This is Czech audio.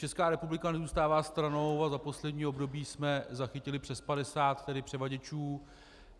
Česká republika nezůstává stranou a za poslední období jsme zachytili přes 50 převaděčů.